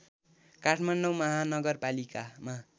Kathmandu महानगरपालिकामा